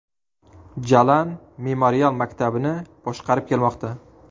Jalan memorial maktabini boshqarib kelmoqda.